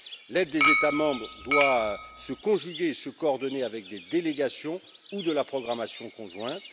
L'aide des États membres doit se conjuguer, se coordonner avec des délégations ou de la programmation conjointe.